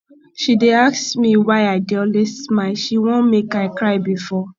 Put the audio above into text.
she dey ask me why i dey always smile she wan make i cry before